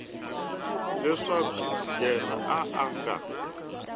leswaku yena a a nga